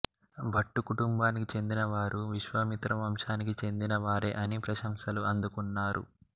భట్టు కుటుంబానికి చెందినవారు విశ్వామిత్ర వంశానికి చెందిన వారే అని ప్రశంసలు అందుకున్నారు